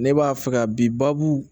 Ne b'a fɛ ka bi baabu